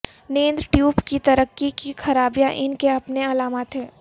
نیند ٹیوب کی ترقی کی خرابیاں ان کے اپنے علامات ہیں